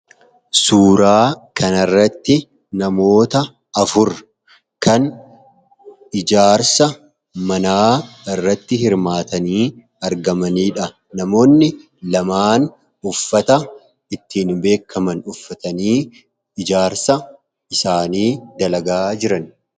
Suuraa kana irratti namoota afur kan ijaarsa manaa irratti hirmaatanii argamaniidha. Namoonni lamaan uffata ittiin beekaman uffatanii ijaarsa isaanii dalagaa jiran.